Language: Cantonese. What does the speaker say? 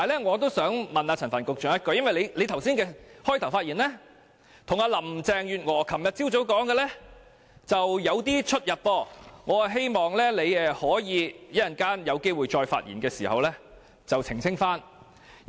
我想向陳帆局長提問，因為他剛才的開場發言與林鄭月娥昨晨所說的略有不同，我希望他可以在稍後發言時澄清。